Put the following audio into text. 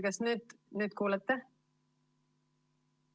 Kas nüüd kuulete?